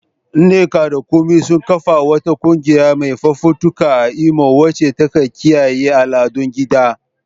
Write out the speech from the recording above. Nneka da Kunmi sun kafa wata kungiya mai fafutuka a Imo wacce ta kiyaye al'adun gida.